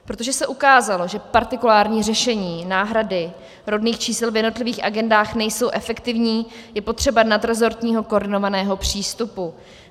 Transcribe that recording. Protože se ukázalo, že partikulární řešení náhrady rodných čísel v jednotlivých agendách nejsou efektivní, je potřeba nadresortního koordinovaného přístupu.